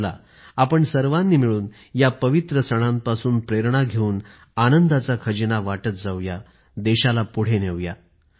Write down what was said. चला आपण सर्वानी मिळून या पवित्र सणांपासून प्रेरणा घेऊन आनंदाचा खजिना वाटत जाऊ या देशाला पुढे नेऊ या